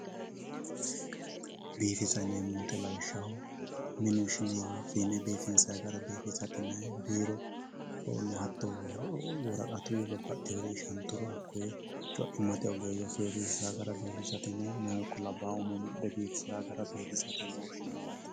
Biifissa yineemo woyite lawishaho minu ishinewoha fiine biifinsanni gara biifisate yinayi biirono hatonno woraqatuyi shantuha co'imatte oggeyye seesisawo gara biifisate yinayi, meeyyahu ikko labaahu umo mudhe biifisawo gara biifisate yine woshinayi yaate